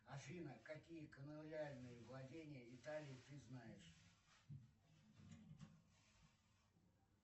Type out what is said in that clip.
афина какие колониальные владения италии ты знаешь